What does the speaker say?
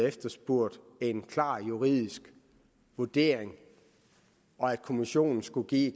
efterspurgt en klar juridisk vurdering og at kommissionen skulle give